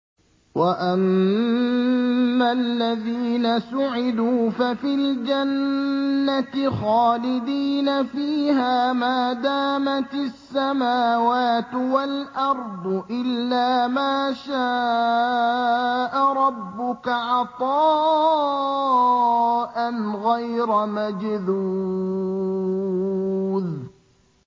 ۞ وَأَمَّا الَّذِينَ سُعِدُوا فَفِي الْجَنَّةِ خَالِدِينَ فِيهَا مَا دَامَتِ السَّمَاوَاتُ وَالْأَرْضُ إِلَّا مَا شَاءَ رَبُّكَ ۖ عَطَاءً غَيْرَ مَجْذُوذٍ